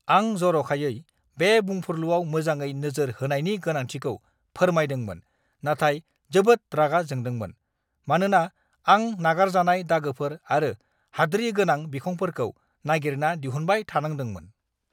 आं जर'खायै बे बुंफुरलुआव मोजाङै नोजोर होनायनि गोनांथिखौ फोरमायदोंमोन नाथाय जोबोद रागा जोंदोंमोन, मानोना आं नागारजानाय दागोफोर आरो हाद्रि गोनां बिखंफोरखौ नागिरना दिहुनबाय थानांदोंमोन।